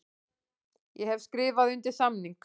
Ég hef skrifað undir samning.